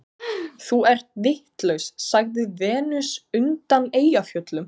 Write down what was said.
Þú ert vitlaus, sagði Venus undan Eyjafjöllum.